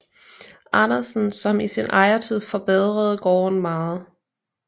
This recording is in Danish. Andersen som i sin ejertid forbedrede gården meget